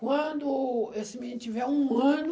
Quando esse menino tiver um ano...